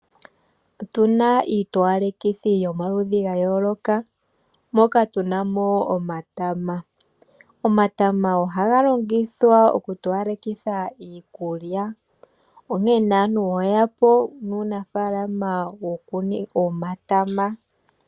Otu na iitowalekithi yomaludhi ga yooloka moka tu na mo omatama. Omatama ohaga longithwa okutowalekitha iikulya onkene aantu oye ya po nuunafalama wokukuna omatama.